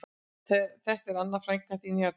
Þetta er Anna frænka þín hérna